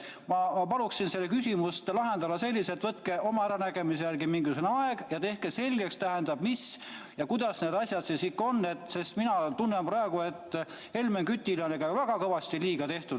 Ma palun see küsimus lahendada nii, et võtke oma äranägemise järgi mingisugune vaheaeg ja tehke selgeks, kuidas need asjad siis ikkagi on, sest mina tunnen praegu, et Helmen Kütile on väga kõvasti liiga tehtud.